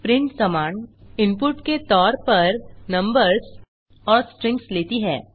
print command input के तौर पर नंबर्स और स्ट्रिंग्स लेती है